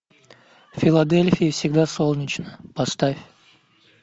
в филадельфии всегда солнечно поставь